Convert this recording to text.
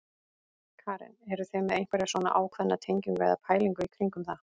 Karen: Eruð þið með einhverja svona ákveðna tengingu eða pælingu í kringum það?